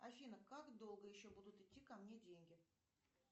афина как долго еще будут идти ко мне деньги